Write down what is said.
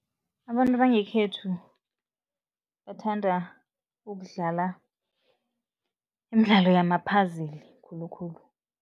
Abantu bangekhethu bathanda ukudlala imidlalo yama-puzzle khulukhulu.